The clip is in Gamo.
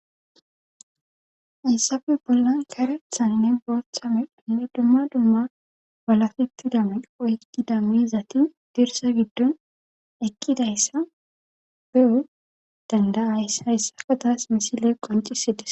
Hayssappe bollan karethanne booththa meranne dumma dumma waalaketida mera oykkida miizzati dirsa giddon eqqida issa be'anawu dandayas. Hayssaka tasi misile qoncissi des.